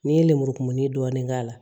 N'i ye lemuru kumuni dɔɔni k'a la